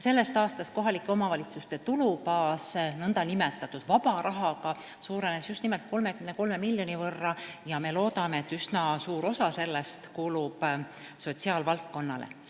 Sellest aastast suurenes kohalike omavalitsuste tulubaas nn vaba rahaga 33 miljoni võrra ja me loodame, et üsna suur osa sellest kulub sotsiaalvaldkonnale.